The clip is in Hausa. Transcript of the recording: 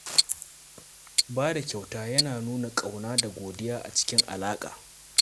Ba da kyauta yana nuna ƙauna da godiya a cikin alaƙa.